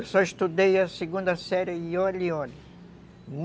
Eu só estudei a segunda série e olhe, olhe.